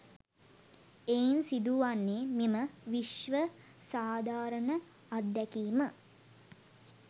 එයින් සිදු වන්නේ මෙම විශ්ව සාධාරණ අත්දැකීම